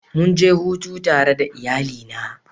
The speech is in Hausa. Mun je hutu tare da iyalina.